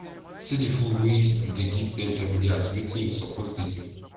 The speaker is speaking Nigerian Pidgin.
see di food wey u dey give dem everyday as wetin u suppose dey do